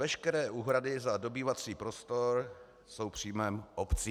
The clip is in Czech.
Veškeré úhrady za dobývací prostor jsou příjmem obcí.